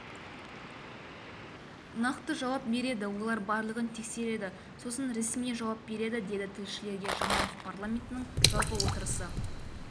нақты жауап береді олар барлығын тексереді сосын ресми жауап береді деді тілшілерге жамалов парламенттің жалпы отырысы